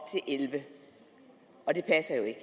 elleve og det passer jo ikke